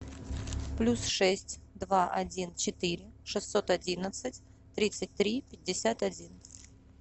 плюс шесть два один четыре шестьсот одиннадцать тридцать три пятьдесят один